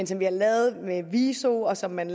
som vi har lavet med viso og som man